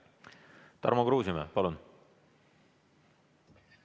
Tarmo Kruusimäe, palun!